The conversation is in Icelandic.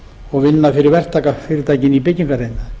og vinna fyrir verktakafyrirtæki í byggingariðnaði